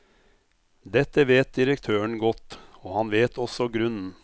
Dette vet direktøren godt, og han vet også grunnen.